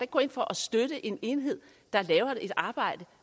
gå ind for at støtte en enhed der laver et arbejde